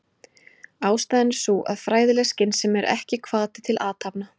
Ástæðan er sú að fræðileg skynsemi er ekki hvati til athafna.